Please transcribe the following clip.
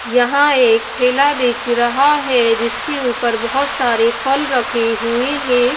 यहां एक ठेला दिख रहा है जिसके ऊपर बहुत सारे फल रखे हुए हैं।